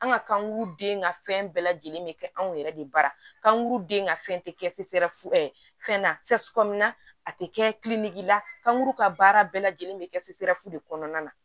An ka kankuru den ka fɛn bɛɛ lajɛlen bɛ kɛ anw yɛrɛ de baara kanu den ka fɛn tɛ kɛ fefefula a tɛ kɛ la kankuru ka baara bɛɛ lajɛlen bɛ kɛ fefefu de kɔnɔna na